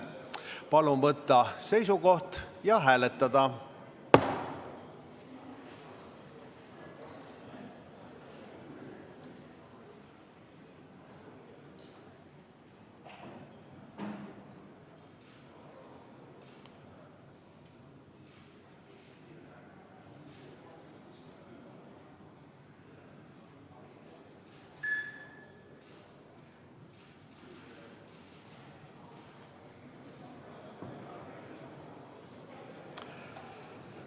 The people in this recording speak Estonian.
Palun võtta seisukoht ja hääletada!